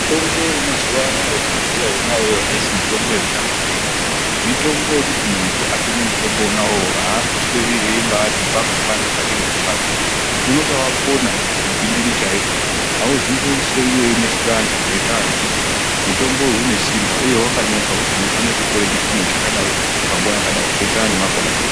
Tombo yemazuwa anaa yatinobhuya aisi mutombo yekutamba ndiyo mitombo yekuti muntu atomwe mutombo uwowo aambosweri echiti pangu pano parikurwadza unobaapona zvekuti gwindiri chaiko auzombosweri weinesa vantu ngendaa yekuti mutomboyu une simba uye wakanyorwa kuti unofane kutore chipimo chakadai panguwa yakadai zvoenderana nemakore ako.